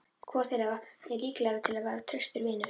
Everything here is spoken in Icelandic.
Hvor þeirra er líklegri til að verða traustur vinur?